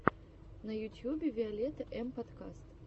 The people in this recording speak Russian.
на ютьюбе виолетта эм подкаст